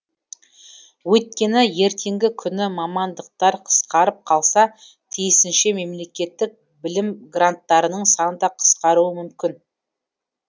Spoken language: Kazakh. өйткені ертеңгі күні мамандықтар қысқарып қалса тиісінше мемлекеттік білімгранттарының саны да қысқаруы мүмкін